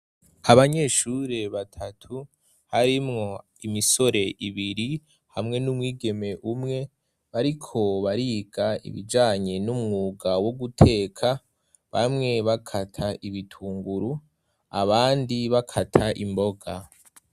Abanyeshure batatu harimwo imisore ibiri hamwe n'umwigeme umwe bari ko bariga ibijanye n'umwuga wo guteka bamwe bakata ibitunguru abandi bakata imboga.